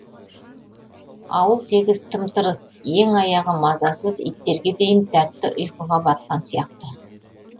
ауыл тегіс тым тырыс ең аяғы мазасыз иттерге дейін тәтті ұйқыға батқан сияқты